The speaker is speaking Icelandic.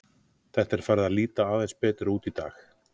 Þetta er farið að líta aðeins betur út í dag.